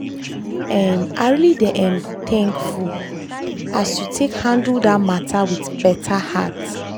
um i really dey um thankfull as you take handle that matter with better heart.